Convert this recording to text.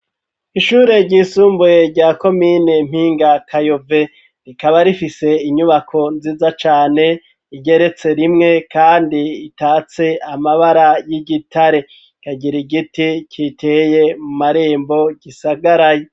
Ishure ry'isumbuye rya komine Mpingakayove, rikaba rifise inyubako nziza cane igeretse rimwe, kandi itatse amabara y'igitare, ikagira igiti giteye mu marembo gisagaraye.